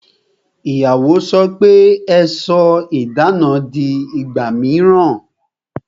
Ìyàwó sọ pe "Ẹ sọ idana di ìgbà mìíràn